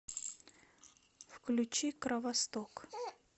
включи кровосток